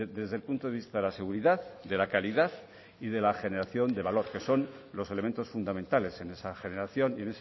desde el punto de vista de la seguridad de la calidad y de la generación de valor que son los elementos fundamentales en esa generación y